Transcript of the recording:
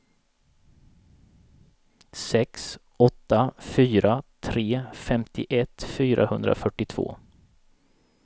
sex åtta fyra tre femtioett fyrahundrafyrtiotvå